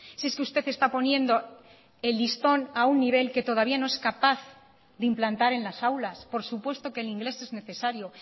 si es que usted está poniendo el listón a un nivel que todavía no es capaz de implantar en las aulas por supuesto que el inglés es necesario